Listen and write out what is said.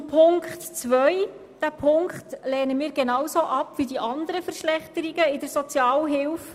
Zu Punkt 2: Diesen lehnen wir ebenso ab wie die anderen Verschlechterungen in der Sozialhilfe.